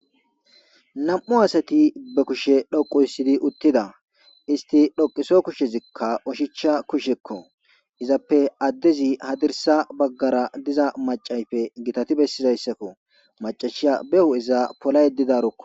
namu asati be kushe dhoqu hissidi uttida isti dhoqiso kushezikka oshicha kushekko izappe addezi hadirsa baggara diza macayfe gitati bessidayssakko macashiya behu'iza pola yedidarokko